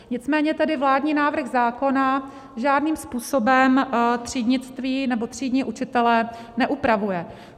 Nicméně tedy vládní návrh zákona žádným způsobem třídnictví nebo třídní učitele neupravuje.